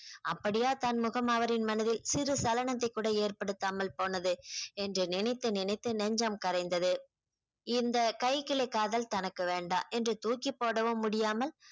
அப்படியா தன்முகம் அவரின் மனதில் சிறு சலனத்தை கூட ஏற்படுத்தாமல் போனது என்று நினைத்து நினைத்து நெஞ்சம் கரைந்தது இந்த கைக்கிளை காதல் தனக்கு வேண்டாம் என்று தூக்கிப் போடவும் முடியாமல்